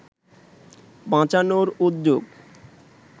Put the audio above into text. বাঁচানোর উদ্যোগ